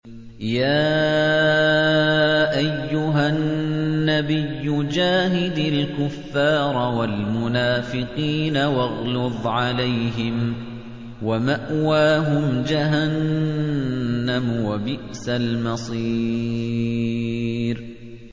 يَا أَيُّهَا النَّبِيُّ جَاهِدِ الْكُفَّارَ وَالْمُنَافِقِينَ وَاغْلُظْ عَلَيْهِمْ ۚ وَمَأْوَاهُمْ جَهَنَّمُ ۖ وَبِئْسَ الْمَصِيرُ